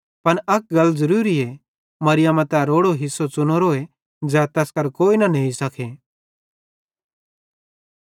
पन अक गल ज़रूरीए मरियमा तै रोड़ो हिस्सो च़ुनोरोए ज़ै तैस करां कोई न नेई सके